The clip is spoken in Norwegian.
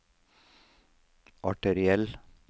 arteriell